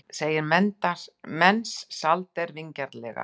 segir Mensalder vingjarnlega.